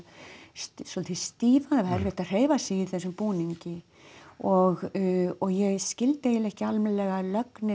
svolítið stífan það er erfitt að hreyfa sig í þessum búningi og ég skildi eiginlega ekki almennilega lögnina